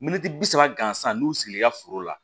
Miniti bi saba gansan n'u sigil'i ka foro la